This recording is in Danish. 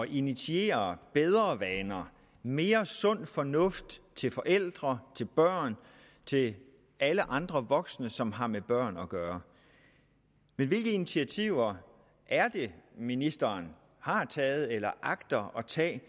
initiere bedre vaner mere sund fornuft til forældre til børn til alle andre voksne som har med børn at gøre hvilke initiativer er det ministeren har taget eller agter at tage